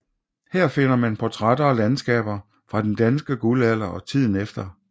Her finder man portrætter og landskaber fra den danske guldalder og tiden efter